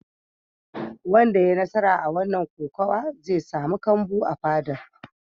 Wanda ya yi nasara a wannan kokawa zai samu kambu a fadar.